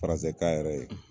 Firansɛkan yɛrɛ ye